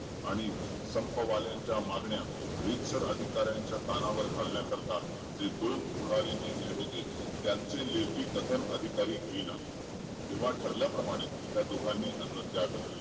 आणि संपवाल्यांच्या मागण्या रीतसर अधिकाऱ्याच्या कानावर घालण्या करिता जे दोन पुरावे नेमले होते त्याचे लेखी कथन अधिकारी घेई ना तेव्हा धरल्याप्रमाणे त्या दोघांनाही अन्न त्याग केला